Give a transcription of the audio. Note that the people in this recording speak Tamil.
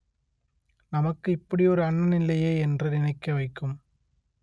நமக்கு இப்படியொரு அண்ணன் இல்லையே என்று நினைக்க வைக்கும்